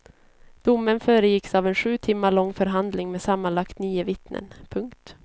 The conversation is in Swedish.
Domen föregicks av en sju timmar lång förhandling med sammanlagt nio vittnen. punkt